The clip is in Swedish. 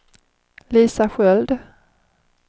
Lisa Sköld